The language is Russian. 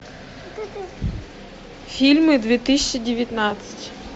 фильмы две тысячи девятнадцать